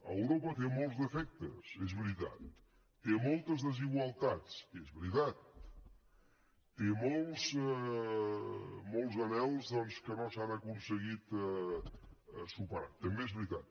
europa té molts defectes és veritat té moltes desigualtats és veritat té molts anhels doncs que no s’han aconseguit superar també és veritat